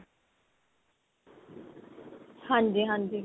ਹਾਂਜੀ ਹਾਂਜੀ.